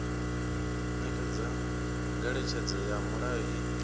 nekedza ngeletshedzo ya mulayo i